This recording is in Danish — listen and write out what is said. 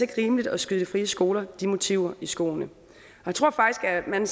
rimeligt at skyde de frie skoler de motiver i skoene jeg tror faktisk at man